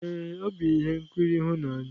ee, ọ bụ ihe nkiri ịhụnanya.